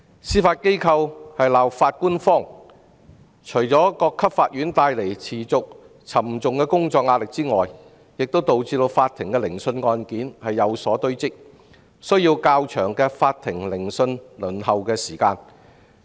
司法機構在"鬧法官荒"，不但持續加重各級法院的工作壓力，亦導致法庭的聆訊案件堆積如山，增加法庭聆訊輪候時間。